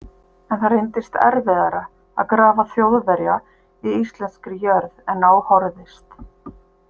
En það reyndist erfiðara að grafa Þjóðverja í íslenskri jörð en á horfðist.